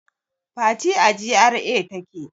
Fati a GRA take